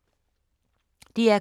DR K